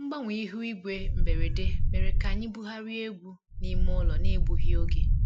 Mgbanwe ihu igwe mberede mere ka anyị bugharịa egwu n'ime ụlọ n'egbughị oge